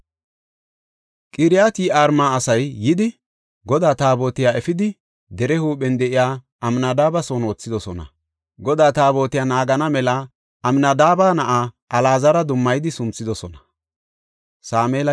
Qiriyat-Yi7aarima asay yidi, Godaa Taabotiya efidi dere huuphen de7iya Amnadaabe son wothidosona. Godaa Taabotiya naagana mela Amnadaabe na7aa Alaazara dummayidi sunthidosona.